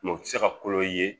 Mɛ u te se ka kolo i ye